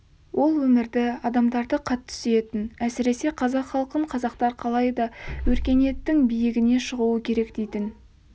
ол өмірді адамдарды қатты сүйетін әсіресе қазақ халқын қазақтар қалай да өркениеттің биігіне шығуы керек дейтін